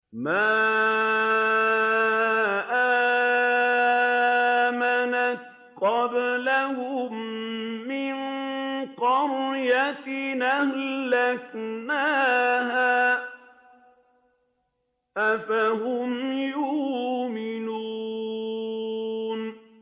مَا آمَنَتْ قَبْلَهُم مِّن قَرْيَةٍ أَهْلَكْنَاهَا ۖ أَفَهُمْ يُؤْمِنُونَ